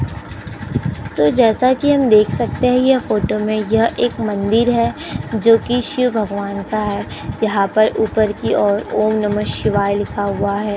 तो जैसा कि हम देख सकते है यह फोटो में यह एक मंदिर है जोकि शिव भगवान का है यहाँ ऊपर की ओर ओम नमः शिवाय लिखा हुआ हैं।